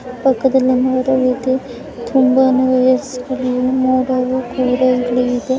ಪಕ್ಕದಲ್ಲಿ ಮೋಡ ಇದೆ ರೀತಿ ತುಂಬ ಮೂವೀಸ್ ನೋಡಲು ಕೂಡ ಇಲ್ಲಿ ಇದೆ .